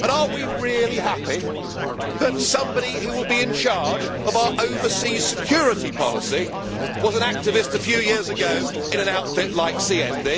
And are we really happy that somebody who will be in charge of our overseas security policy was an activist a few years ago in an outfit like